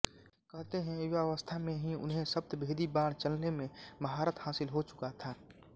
कहते हैं युवावस्था में ही उन्हें शब्दभेदी बाण चलने में महारत हासिल हो चुका था